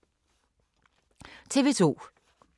TV 2